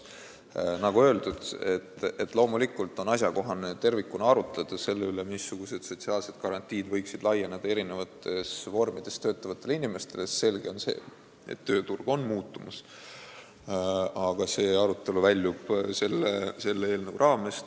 Nagu öeldud, loomulikult on asjakohane tervikuna arutleda selle üle, missugused sotsiaalsed garantiid võiksid olla erinevate lepingute alusel töötavatel inimestel, sest selge on, et tööturg on muutumas, aga see arutelu väljub selle eelnõu raamest.